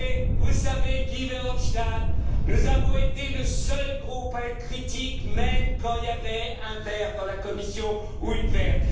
savez, Guy Verhofstadt, nous avons été le seul groupe à être critique, même quand il y avait un Vert dans la Commission ou une Verte.